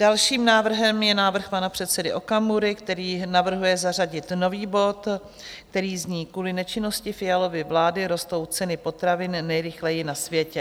Dalším návrhem je návrh pana předsedy Okamury, který navrhuje zařadit nový bod, který zní: Kvůli nečinnosti Fialovy vlády rostou ceny potravin nejrychleji na světě.